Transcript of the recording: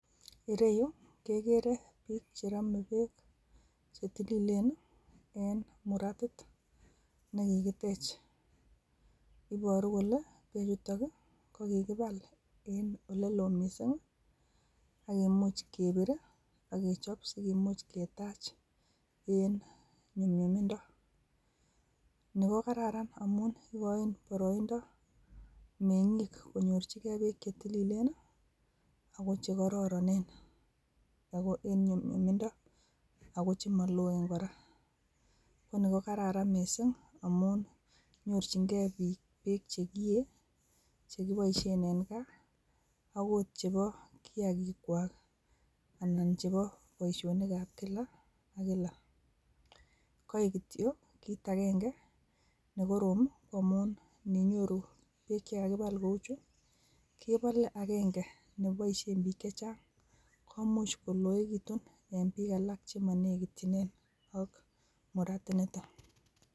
Ireyu kegere biik che rome berk chetileen en muratit, nekikitech. Ibooru kole ireyutok kokibaal en oleloo missing akimuch kebir ak kechob sikimuch ketach beek en nyunyumindoo. Ni ko kararanindoo amun ikochi boroindoo mengiik konyorchigei beek che tilileen. Ako chekororonen ako en nyumyumindo ako chemoloen kora. Inoni ko kararan missing amun nyorchingei biik berk chekiyee, chekiboishien en gaa akot chebo kiyaagikwak anan chebo boishonik ab kila ak kila. Koik kityok kit agenge nekoroom ko ininyooru beek chekakibaal kouchu, kebolee agenge neboishien biik chechang, komuch koloekitun en bik chemonekityinen ak muratit nitok.